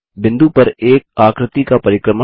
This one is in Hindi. बिंदु पर एक आकृति का परिक्रमण